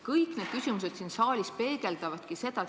Kõik need küsimused siin saalis peegeldavadki seda.